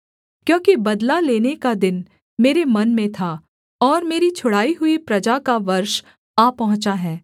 क्योंकि बदला लेने का दिन मेरे मन में था और मेरी छुड़ाई हुई प्रजा का वर्ष आ पहुँचा है